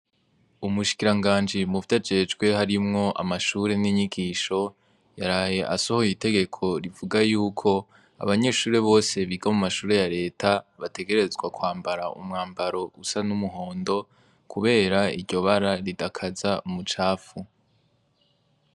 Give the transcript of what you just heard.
Umushikiranganji muvyo ajejwe harimwo amashure n'inyigisho yaraye asohoye itegeko rivuga yuko abanyeshure bose biga mu mashure ya leta bategerezwa kwambara umwambaro usa n'umuhondo, kubera iryo bara ridakaza umucapfu.